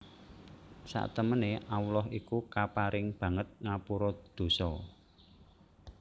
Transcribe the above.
Satemene Allah itu kapareng banget ngapura dosa